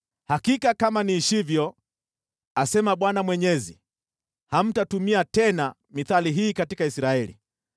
“Hakika kama niishivyo, asema Bwana Mwenyezi, hamtatumia tena mithali hii katika Israeli.